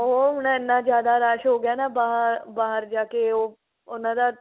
ਉਹ ਹੁਣ ਇੰਨਾ ਜਿਆਦਾ ਰਸ਼ ਹੋ ਗਿਆ ਨਾ ਬਾਹਰ ਜਾਕੇ ਉਹ ਉਹਨਾ ਦਾ